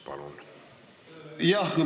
Palun!